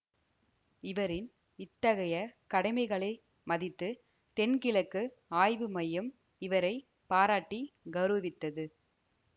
இவரின் இத்தகைய கடமைகளை மதித்து தென்கிழக்கு ஆய்வு மையம் இவரை பாராட்டி கௌரவித்தது